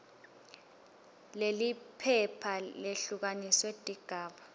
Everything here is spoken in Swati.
leliphepha lehlukaniswe tigaba